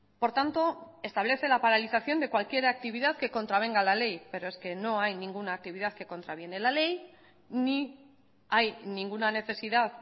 por tanto establece la paralización de cualquier actividad que contravenga la ley pero es que no hay ninguna actividad que contraviene la ley ni hay ninguna necesidad